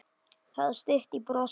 Það var stutt í brosið.